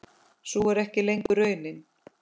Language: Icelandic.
Sú er ekki lengur raunin.